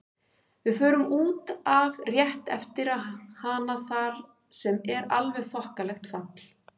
Við förum út af rétt eftir hana þar sem er alveg þokkalegt fall.